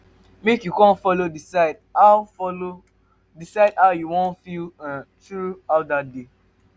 mek you con follow decide how follow decide how yu wan feel um thru um out dat day